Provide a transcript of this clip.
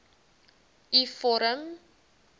u vorm